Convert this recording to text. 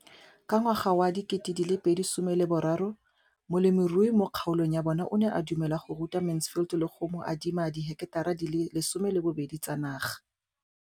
Ka ngwaga wa 2013, molemirui mo kgaolong ya bona o ne a dumela go ruta Mansfield le go mo adima di heketara di le 12 tsa naga.